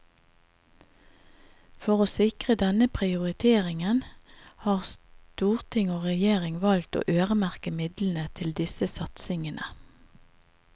For å sikre denne prioriteringen, har storting og regjering valgt å øremerke midlene til disse satsingene.